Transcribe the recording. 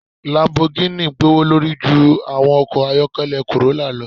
Lambogini gbowolori ju awọn ọkọ ayọkẹlẹ corrolla lọ